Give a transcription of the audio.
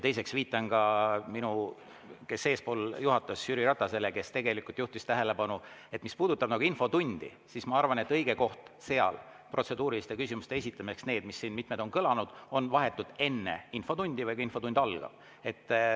Teiseks viitan eespool juhatanud Jüri Ratasele, kes juhtis tähelepanu sellele, et mis puudutab infotundi, siis ma arvan, et õige koht seal protseduuriliste küsimuste esitamiseks, nagu need, mis siin on kõlanud, on vahetult enne infotundi või siis, kui infotund algab.